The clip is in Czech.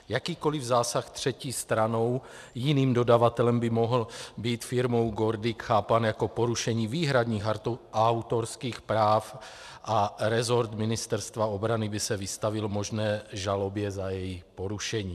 Jakýkoliv zásah třetí stranou, jiným dodavatelem, by mohl být firmou GORDIC chápán jako porušení výhradních autorských práv a resort Ministerstva obrany by se vystavil možné žalobě za jejich porušení.